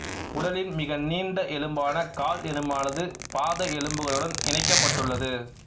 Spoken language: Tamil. உடலின் மிக நீண்ட எலும்பான கால் எலும்பானது பாத எலும்புகளுடன் இணைக்கப்பட்டுள்ளது